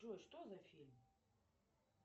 джой что за фильм